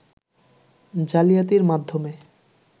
জালিয়াতির মাধ্যমে